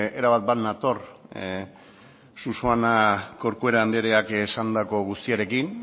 erabat bat nator susana corcuera andreak esandako guztiarekin